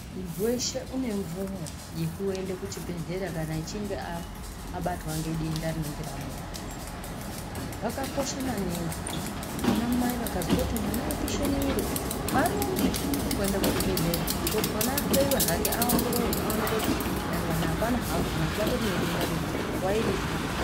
Muntu weshe une mvumo yekuenda kuchibhedhlera kana achinge abatwa nedenda rinenge ramubata. Zvakakosha maningi kuti ana mai vakazwa apisha mwiri uyu varumbe kuenda kuzvibhedhlera kuti mwana ahloiwe hake aongororwe aonekwe kuti dangani hapana hapo kana kuti pane denda riripo nguwa iripo.